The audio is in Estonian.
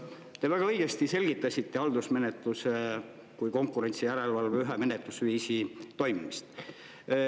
Te väga õigesti selgitasite haldusmenetluse kui konkurentsijärelevalve ühe menetlusviisi toimimist.